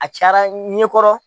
A cayara n ɲɛ kɔrɔ.